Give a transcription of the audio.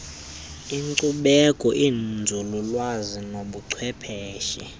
inkcubeko inzululwazi nobuchwepheshe